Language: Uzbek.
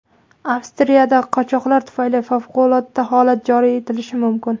Avstriyada qochoqlar tufayli favqulodda holat joriy etilishi mumkin.